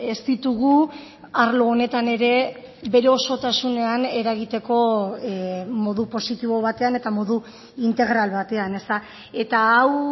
ez ditugu arlo honetan ere bere osotasunean eragiteko modu positibo batean eta modu integral batean eta hau